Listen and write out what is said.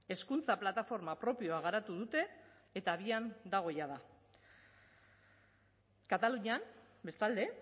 hezkuntza plataforma propioa garatu dute eta abian dago jada katalunian bestalde